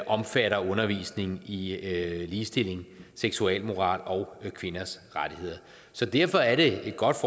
omfatter undervisning i i ligestilling seksualmoral og kvinders rettigheder så derfor er det et godt